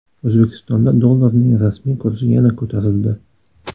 O‘zbekistonda dollarning rasmiy kursi yana ko‘tarildi.